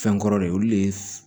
Fɛn kɔrɔ de olu de ye